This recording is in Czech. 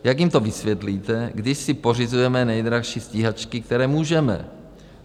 Jak jim to vysvětlíte, kdy si pořizujeme nejdražší stíhačky, které můžeme?